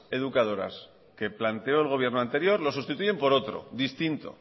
educadoras que planteó el gobierno anterior lo sustituyen por otro distinto